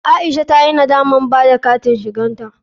Aisha ta yi nadamar ɓada da katin shigarta.